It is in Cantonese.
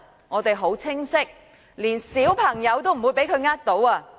我們很清楚，連小朋友也不會被他騙倒。